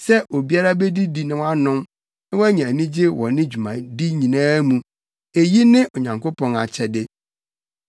Sɛ obiara bedidi na wanom na wanya anigye wɔ ne dwumadi nyinaa mu, eyi ne Onyankopɔn akyɛde.